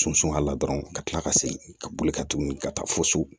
Sunsun a la dɔrɔn ka kila ka segin ka boli ka tuguni ka taa fo so